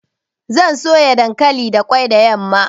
Zan soya dankali da ƙwai da yamma.